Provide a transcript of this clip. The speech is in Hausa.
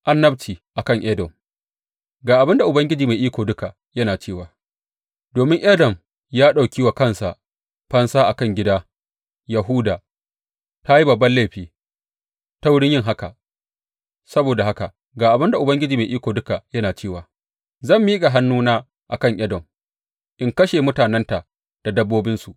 Annabci a kan Edom Ga abin da Ubangiji Mai Iko Duka yana cewa, Domin Edom ya ɗauki wa kanta fansa a kan gida Yahuda, ta yi babban laifi ta wurin yin haka, saboda haka ga abin da Ubangiji Mai Iko Duka yana cewa zan miƙa hannuna a kan Edom in kashe mutanenta da dabbobinsu.